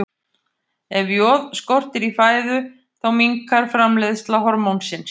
Ef joð skortir í fæðu þá minnkar framleiðsla hormónsins.